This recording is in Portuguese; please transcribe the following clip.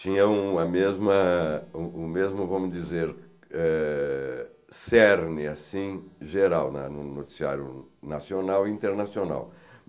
Tinha uma mesma... o o mesmo, vamos dizer, eh cerne, assim, geral na no noticiário nacional e internacional.